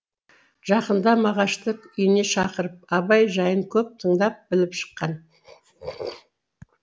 жақында мағашты үйіне шақырып абай жайын көп тыңдап біліп шыққан